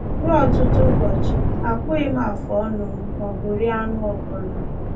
Ruo ọtụtụ ụbọchị, akpụghị m afụọnụ m maọbụ rie anụ ọbụla.